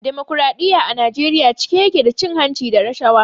Damokradiyya a Najeriya cike ya ke da cin hanci da rashawa.